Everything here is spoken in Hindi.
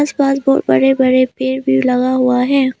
आसपास बहुत बड़े बड़े पेड़ भी लगा हुआ है।